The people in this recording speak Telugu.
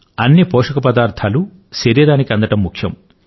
అన్ని పోషక పదార్థాలు శరీరానికి అందడం ముఖ్యం